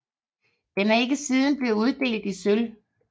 Den er ikke siden blevet uddelt i sølv